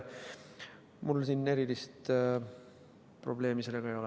Mul erilist probleemi sellega ei ole.